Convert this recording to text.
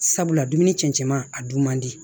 Sabula dumuni cɛncɛn ma a dun man di